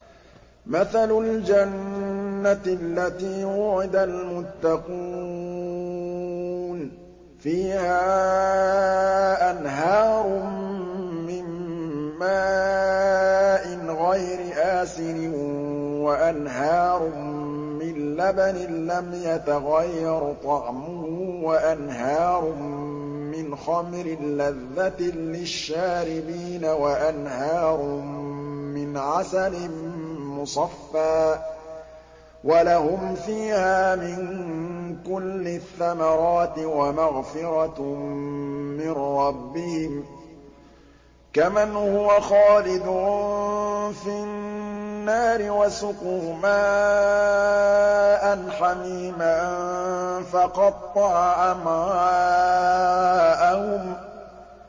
مَّثَلُ الْجَنَّةِ الَّتِي وُعِدَ الْمُتَّقُونَ ۖ فِيهَا أَنْهَارٌ مِّن مَّاءٍ غَيْرِ آسِنٍ وَأَنْهَارٌ مِّن لَّبَنٍ لَّمْ يَتَغَيَّرْ طَعْمُهُ وَأَنْهَارٌ مِّنْ خَمْرٍ لَّذَّةٍ لِّلشَّارِبِينَ وَأَنْهَارٌ مِّنْ عَسَلٍ مُّصَفًّى ۖ وَلَهُمْ فِيهَا مِن كُلِّ الثَّمَرَاتِ وَمَغْفِرَةٌ مِّن رَّبِّهِمْ ۖ كَمَنْ هُوَ خَالِدٌ فِي النَّارِ وَسُقُوا مَاءً حَمِيمًا فَقَطَّعَ أَمْعَاءَهُمْ